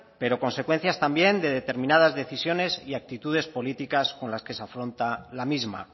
pero consecuencias también de determinadas decisiones y actitudes políticas con las que se afronta la misma